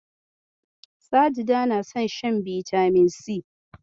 Sajida na son shan bitamin si.